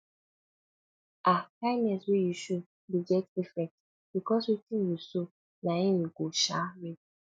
um kindness wey you show de get effects because wetin you sow na him you go um reap